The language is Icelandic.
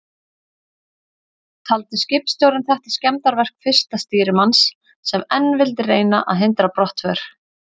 Taldi skipstjórinn þetta skemmdarverk fyrsta stýrimanns, sem enn vildi reyna að hindra brottför.